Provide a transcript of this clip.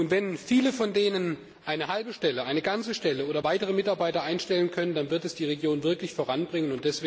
Wenn viele von denen eine halbe Stelle, eine ganze Stelle schaffen und weitere Mitarbeiter einstellen können, dann wird das die Region wirklich voranbringen.